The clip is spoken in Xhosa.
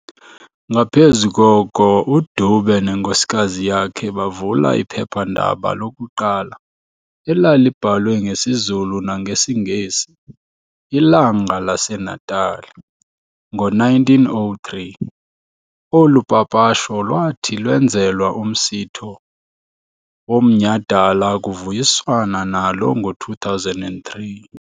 Ngaphezu koko, uDube nenkosikazi yakhe bavula iphephandaba lokuqala elalibhalwe ngesiZulu nangesiNgesi "Ilanga laseNatali" ngo-1903, olu papasho lwathi lwenzelwa umsitho womnyhadala kuvuyiswana nalo ngo-2003.